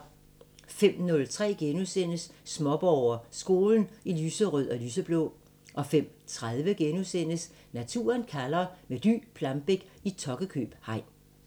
05:03: Småborger: Skolen i lyserød og lyseblå * 05:30: Naturen kalder – med Dy Plambeck i Tokkekøb hegn *